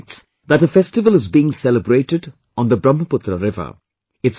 He writes, that a festival is being celebrated on Brahmaputra river